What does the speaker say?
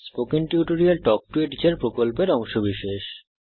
spoken tutorial talk to a teacher প্রকল্পের অংশবিশেষ